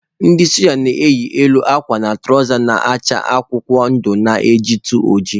Ndị soja na-eyi elu akwa na tụrawza na-acha akwụkwọ ndụ na-ejitu oji.